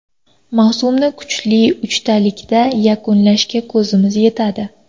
Mavsumni kuchli uchtalikda yakunlashga kuchimiz yetadi.